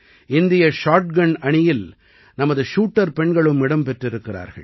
இந்திய ஷாட்கன் அணியில் நமது ஷூட்டர் பெண்களும் இடம் பெற்றிருக்கிறார்கள்